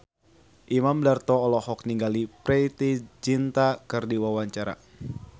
Imam Darto olohok ningali Preity Zinta keur diwawancara